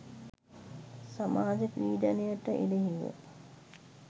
සමාජ පීඩනයට එරෙහිව